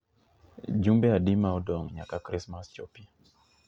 jumbe adi ma odong' nyaka Krismas chopi